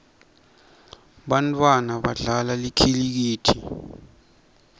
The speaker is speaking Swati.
bantfwana badlala likhilikithi